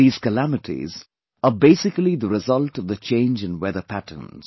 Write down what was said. These calamities are basically the result of the change in weather patterns